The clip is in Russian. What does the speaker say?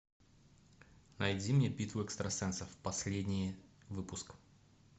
найди мне битву экстрасенсов последний выпуск